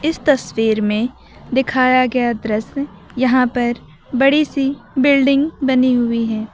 इस तस्वीर में दिखाया गया दृश्य यहां पर बड़ी सी बिल्डिंग बनी हुई है।